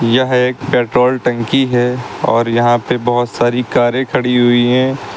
यह एक पेट्रोल टंकी है और यहां पे बहुत सारी कारे खड़ी हुई हैं।